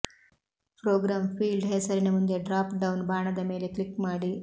program field ಹೆಸರಿನ ಮುಂದೆ drop down ಬಾಣದ ಮೇಲೆ ಕ್ಲಿಕ್ ಮಾಡಿ